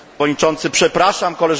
Koleżanki i Koledzy!